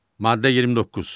Maddə 29.